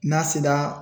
N'a sera